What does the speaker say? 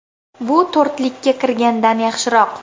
Bu to‘rtlikka kirgandan yaxshiroq.